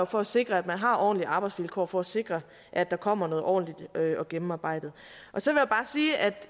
for at sikre at man har ordentlige arbejdsvilkår og for at sikre at der kommer noget ordentligt og gennemarbejdet så vil